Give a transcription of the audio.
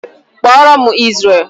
Kpọọ ro'm Izrel!